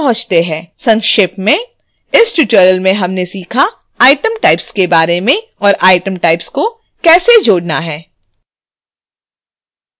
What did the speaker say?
संक्षेप में